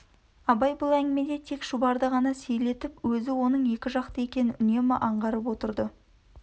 абай бұл әңгімеде тек шұбарды ғана сейлетіп өзі оның екіжақты екенін үнемі аңғарып отырды